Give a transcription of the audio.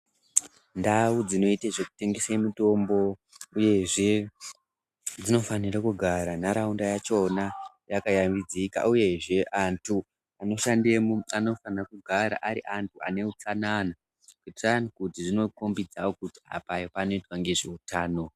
Ndau dzinoita zvekutengesa mitombo uyezve dzinofanira kugara nharaunda yakona yakashambidzika uyezve antu anOshandamo anofana kugara arj antu ane utsanana zvinokombidza kuti apa panoitwa zvehutano.